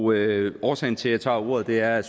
og årsagen til at jeg tager ordet er at